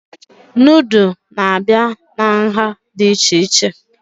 Nudụ na-abịa na nhá dị iche iche